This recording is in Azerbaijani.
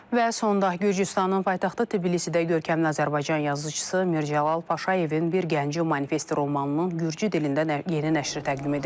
Və sonda Gürcüstanın paytaxtı Tbilisidə görkəmli Azərbaycan yazıçısı Mirzə Cəlal Paşayevin bir gəncə manifest romanının Gürcü dilində yeni nəşri təqdim edilib.